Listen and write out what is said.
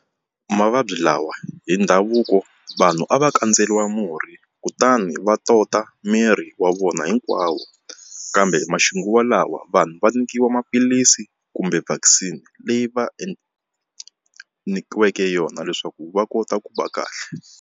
Mavabyi lawa hi ndhavuko vanhu a va kandzeriwa murhi kutani va tota miri wa vona hinkwawo kambe maxinguvalawa vanhu va nyikiwa maphilisi kumbe vaccine leyi va nyikiweke yona leswaku va kota ku va kahle.